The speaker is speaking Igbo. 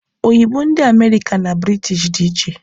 Oyibo ndị America na British dị iche